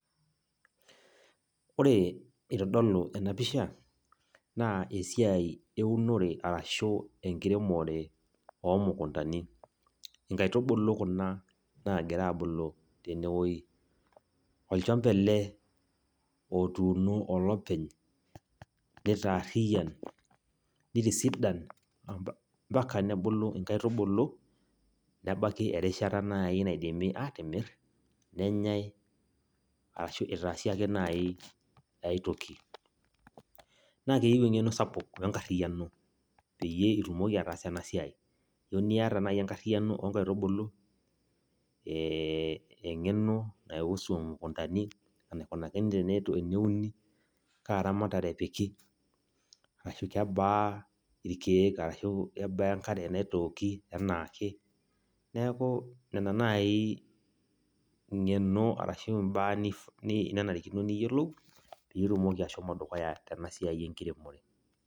Oore eitodolu eena pisha naa esiai eunore arashu enkiremore oo mukundani. Inkaitubulu kuuna naagira abulu teene wueji. Olchamba eele otuuno olepeny, neitaariyian, neitisidan, mbaka nebulu inkaitubulu nebaiki erishata naaji naidimi atimir, nenyae araki eitaasi aake naaji ae toki. Naa keyieu eng'eno sapuk wenkariyiano peyie itumoki ataasa eena siai keyieu nita duo naaji enkariyiano onkaitubulu, eng'eno naihusu imukundani, enaikunakini teneuni, kaa ramatare epiki, kebaa irkeek araki kebaa enkare naitooki enaake, niaku nena naaji eng'eno araki imbaa ananrikino niyiolou peyie itumoki ashomo dukuya teena siai enkiremore.